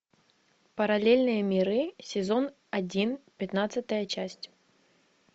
параллельные миры сезон один пятнадцатая часть